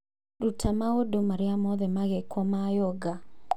Ruta maũndũ marĩa mothe magekwo ma yoga